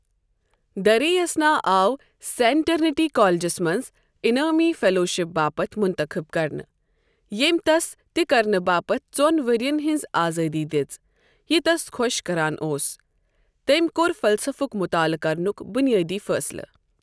دریں اثنا آو سین ٹرنیٹی کالجس منز انعٲمی فیلوشپ باپتھ مُنتخب کرنہٕ ، ییمۍ تس تہِ كرنہٕ باپتھ ژون ورِین ہنز آزٲدی دِژ یہِ تس خۄش كران اوس ، تٔمۍ كو٘ر فلسفُک مطالعہٕ كرنُک بُنِیٲدی فٲصلہٕ ۔